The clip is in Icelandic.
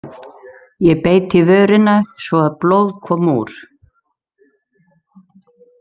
Ég beit í vörina svo að blóð kom úr.